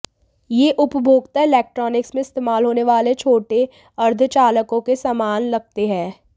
यह उपभोक्ता इलेक्ट्रॉनिक्स में इस्तेमाल होने वाले छोटे अर्धचालकों के समान लगते हैं